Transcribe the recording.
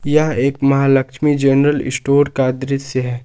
यह एक Mahalakshmi general store का दृश्य है।